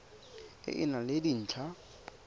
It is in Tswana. e e nang le dintlha